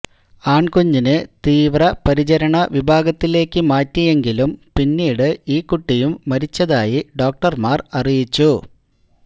ആൺകുഞ്ഞിനെ തീവ്രപരിചരണ വിഭാഗത്തിലേക്കു മാറ്റിയെങ്കിലും പിന്നീട് ഈ കുട്ടിയും മരിച്ചതായി ഡോക്ടർമാർ അറിയിച്ചു